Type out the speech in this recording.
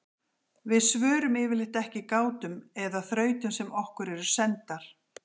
við svörum yfirleitt ekki gátum eða þrautum sem okkur eru sendar